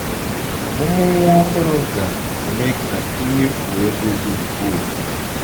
Ọmụmụ nwa ọhụrụ ga - eme ka i mefuwe ego dị ukwuu.